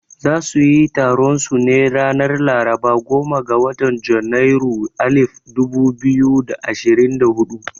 Za suyi taron su ne ranar laraba goma ga watan janairu alif dubu biyu da ashirin da hudu